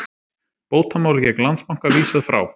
Bótamáli gegn Landsbanka vísað frá